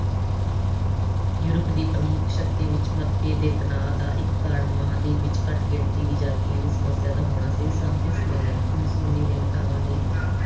Europe ਦੀਆਂ ਪ੍ਰਮੁੱਖ ਸ਼ਕਤੀਆਂ ਵਿੱਚ ਮਤਭੇਦ ਤੇ ਤਨਾਅ ਦਾ ਇੱਕ ਕਾਰਨ ਮਹਾਂਦੀਪ ਵਿੱਚ ਘੱਟ ਗਿਣਤੀ ਦੀ ਜਾਤੀਆਂ ਦੀ ਸਮੱਸਿਆ ਦਾ ਹੋਣਾ ਸੀ। ਸ਼ਾਂਤੀ ਸੰਮੇਲਨ। ਉਨੀ ਸੌ ਉਨੀ ਦੇ ਨੇਤਾਵਾਂ ਨੇ